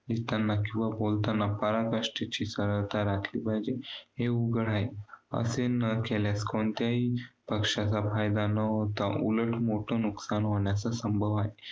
लिहिताना किंवा बोलताना पराकष्टाची सरलता राखली पाहिजे. हे उघड आहे. असे न केल्यास कोणत्याही पक्षाचा फायदा न होता उलट मोठं नुकसान होण्याचं संभाव आहे.